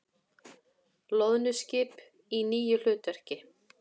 Loðnuskip í nýju hlutverki